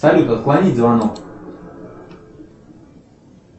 салют отклонить звонок